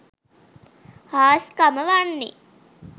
හාස්කම වන්නේ